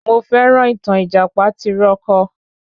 Mo féràn ìtàn Ìjàpá tìrókò